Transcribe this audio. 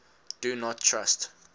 do not trust